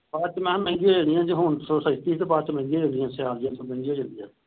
ਬਾਅਦ ਚ ਮੈ ਕਿਹਾ ਮਹਿੰਗੀ ਹੋ ਜਾਣੀ ਆ ਜੇ ਹੁਣ ਸਸਤੀ ਬਾਅਦ ਚ ਮਹਿੰਗੀ ਹੋ ਜਾਣੀ ਆ ਸਿਆਲ ਜਹੇ ਚ ਮਹਿੰਗੀ ਹੋ ਜਾਂਦੀ ਆ।